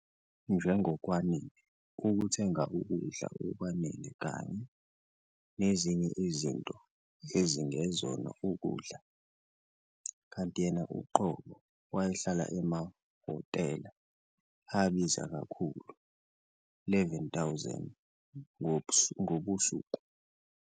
"Njengokwanele ukuthenga ukudla okwanele kanye nezinye izinto ezingezona ezokudla", kanti yena uqobo wayehlala emahhotela abiza kakhulu R11,000 ngobusuku.